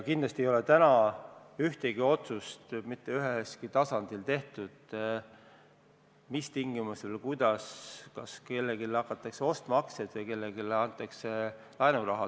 Kindlasti ei ole täna mitte ühelgi tasandil tehtud ühtegi otsust selle kohta, mis tingimustel või kuidas ja kas hakatakse kellegi aktsiaid ostma või kellelegi laenuraha andma.